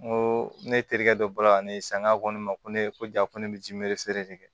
N ko ne terikɛ dɔ bɔra ne ye saga ko ne ma ko ne ko ja ko ne bɛ ji miri feere